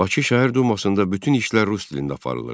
Bakı Şəhər Dumasında bütün işlər rus dilində aparılırdı.